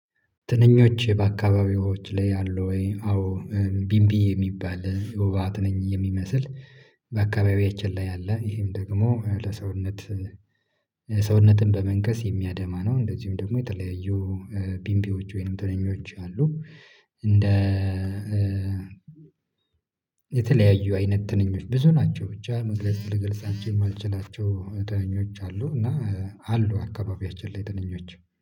ትንኞች በአካባቢዎት ላይ አሉ ወይ? አዎ ቢምቢ የሚባል የወባ ትንኝ የሚመስል በአካባቢያችን ላይ አለ ይሄም ደግሞ ለሰውነት ሰውነትን በመንከስ የሚያደማ ነው። እንደዚሁም ደግሞ የተለያዩ ቢምቢዎች ወይንም ትንኞች አሉ። እንደ የተለያዩ አይነት ትንኞች ብዙ ናቸው ብቻ መግለጽ ልገልጻቸው የማልችላቸው ትንኞች አሉ። እና አሉ አካባቢያችን ላይ ትንኞች